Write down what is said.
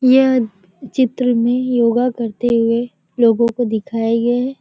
यह चित्र में योगा करते हुए लोगों को दिखाये गये हैं।